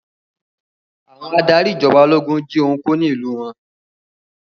Àwọn adarí ìjọba ológun jí ohun kó ní ìlú wọn.